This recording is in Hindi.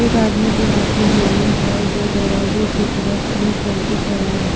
एक आदमी के हाथ में हेलमेटहै जो दरवाजे के तरफ मुह्ह करके ठेरा है।